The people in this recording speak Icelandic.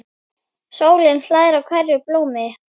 Sólin hlær í hverju blómi.